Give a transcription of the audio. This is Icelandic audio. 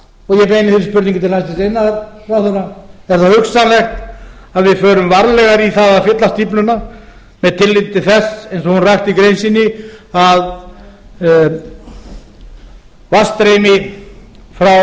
og ég beini þeirri spurningu til hæstvirts iðnaðarráðherra er það hugsanlegt að við förum varlegar í að fylla stífluna með tilliti til þess eins og ásta rakti í grein sinni að